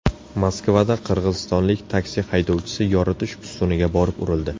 Moskvada qirg‘izistonlik taksi haydovchisi yoritish ustuniga borib urildi.